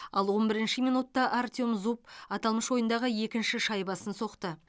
ал он бірінші минутта артем зуб аталмыш ойындағы екінші шайбасын соқты